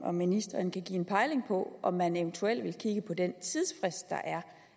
om ministeren kan give en pejling på om man eventuelt vil kigge på den tidsfrist der er